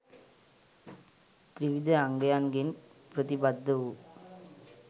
ත්‍රිවිධ අංගයන්ගෙන් ප්‍රතිබද්ධ වූ